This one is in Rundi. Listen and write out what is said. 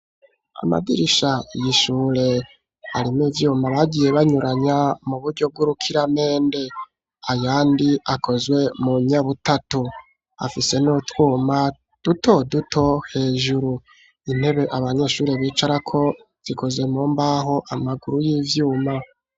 Amadirisha y'ishure arimwo ivyuma bagiye banyuranya mu buryo bw'urukiramembe ayandi akozwe mu nyabutatu, afise n'utwuma duto duto hejuru, intebe abanyeshuri bicarako zikoze mu mbaho amaguru y'ivyuma.